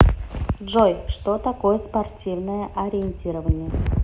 джой что такое спортивное ориентирование